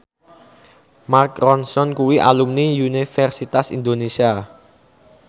Mark Ronson kuwi alumni Universitas Indonesia